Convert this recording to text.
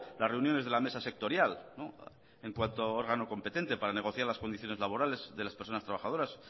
las reuniones de la mesa sectorial en cuanto órgano competente para negociar las condiciones laborales de las personas trabajadoras